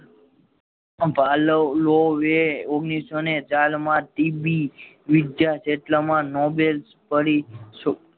ઓગ્માંનીસોને ચારમા ટીબી વિદ્યા જેટલા માં નોબેલ પડી